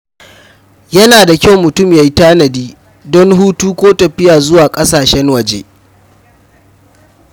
Yana da kyau mutum ya tanadi don hutu ko tafiya zuwa ƙasashen waje.